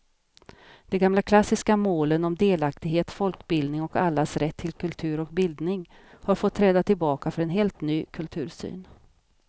De gamla klassiska målen om delaktighet, folkbildning och allas rätt till kultur och bildning har fått träda tillbaka för en helt ny kultursyn.